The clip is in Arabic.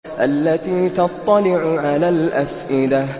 الَّتِي تَطَّلِعُ عَلَى الْأَفْئِدَةِ